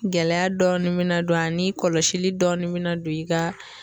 Gɛlɛya dɔɔnin bina don a ni kɔlɔsili dɔɔni bi na don i ka